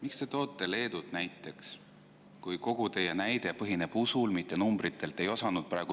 Miks te toote näiteks Leedut, kui kogu teie näide põhineb usul, mitte numbritel?